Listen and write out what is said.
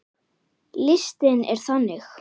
Listinn er þannig